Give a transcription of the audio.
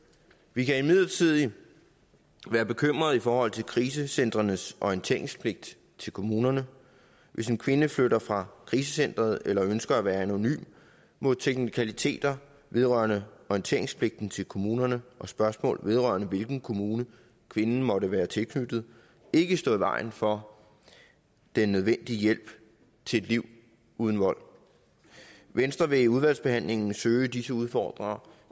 vi kan imidlertid være bekymrede i forhold til krisecentrenes orienteringspligt til kommunerne hvis en kvinde flytter fra krisecenteret eller ønsker at være anonym må teknikaliteter vedrørende orienteringspligten til kommunerne og spørgsmålet om hvilken kommune kvinden måtte være tilknyttet ikke stå i vejen for den nødvendige hjælp til et liv uden vold venstre vil i udvalgsbehandlingen søge disse udfordringer